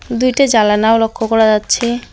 দুইটা জালানাও লক্ষ করা যাচ্ছে।